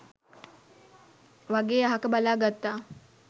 වගේ අහක බලා ගත්තා.